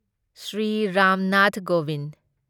Shri Ram Nath Kovind